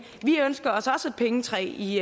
vi ønsker os også et pengetræ i